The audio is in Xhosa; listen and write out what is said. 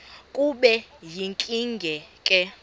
kube yinkinge ke